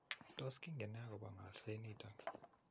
Tos kingen nee akobo ng'olset noton.?